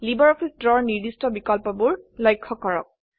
LibreOffice Drawৰ নিৰ্দিষ্ট বিকল্পবোৰ লক্ষ্য কৰক